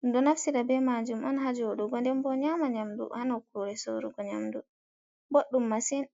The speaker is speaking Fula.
ɗum ɗo naftira be majum on ha jodugo ndenbo nyama nyamdu ha nokkure sorugo nyamdu boɗɗum massin.